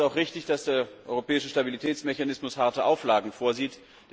Deswegen ist es auch richtig, dass der Europäische Stabilitätsmechanismus harte Auflagen vorsieht.